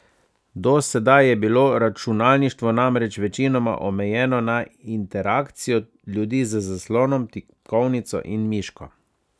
Do sedaj je bilo računalništvo namreč večinoma omejeno na interakcijo ljudi z zaslonom, tipkovnico in miško.